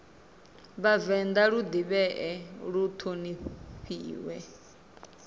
vhavenḓa lu ḓivhee lu ṱhonifhee